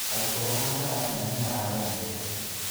Arutwo a Karatina nĩ maragomete.